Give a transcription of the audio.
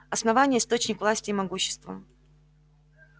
основание источник власти и могущества